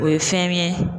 O ye fɛn ye